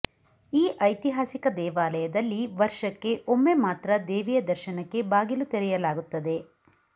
ಈ ಐತಿಹಾಸಿಕ ದೇವಾಲಯದಲ್ಲಿ ಒರ್ಷಕ್ಕೆ ಒಮ್ಮೆ ಮಾತ್ರ ದೇವಿಯ ದರ್ಶನಕ್ಕೆ ಬಾಗಿಲು ತೆರೆಯಲಾಗುತ್ತದೆ